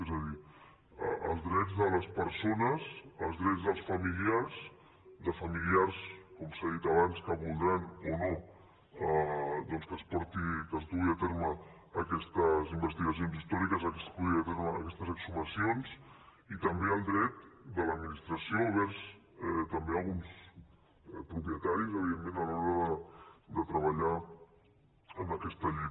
és a dir els drets de les persones els drets dels familiars de familiars com s’ha dit abans que voldran o no doncs que es duguin a terme aquestes investigacions històriques que es duguin a terme aquestes exhumacions i també el dret de l’administració envers també alguns propietaris evidentment a l’hora de treballar en aquesta llei